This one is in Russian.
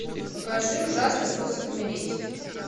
покажи ужасный способ умереть